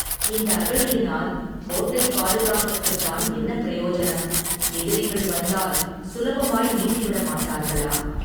இந்த அகழியினால், கோட்டைப் பாதுகாப்புக்குத்தான் என்ன பிரயோஜனம், எதிரிகள் வந்தால், சுலபமாய் நீந்திவிடமாட்டார்களா.